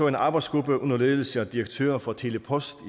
en arbejdsgruppe under ledelse af direktøren for tele post